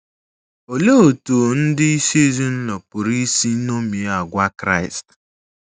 Olee otú ndị isi ezinụlọ pụrụ isi ṅomie àgwà Kraịst?